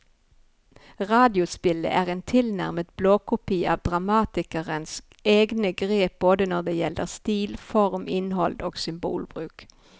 Radiospillet er en tilnærmet blåkopi av dramatikerens egne grep både når det gjelder stil, form, innhold og symbolbruk.